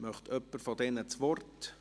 Möchte jemand von Ihnen das Wort?